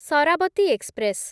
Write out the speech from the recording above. Sharavati express